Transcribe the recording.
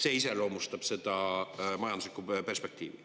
See iseloomustab majanduslikku perspektiivi.